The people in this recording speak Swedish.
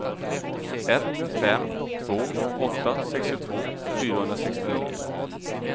ett fem två åtta sextiotvå fyrahundrasextionio